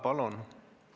Palun!